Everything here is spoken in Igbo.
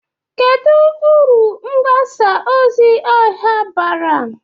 Kedu uru mgbasa ozi ọha bara?